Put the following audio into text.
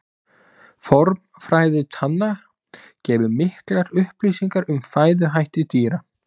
Formfræði tanna gefur miklar upplýsingar um fæðuhætti dýra.